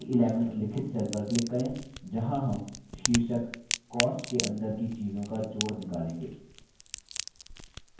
c11 उल्लिखित cell पर click करें जहाँ हम शीर्षक cost के अंदर की चीज़ों का जोड़ निकालेंगे